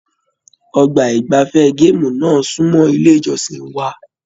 Ọgbà igbafẹ̀ gaamu náà sunmọ ilé ìjọsìn wa.